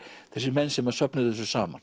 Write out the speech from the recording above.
þessir menn sem að söfnuðu þessu saman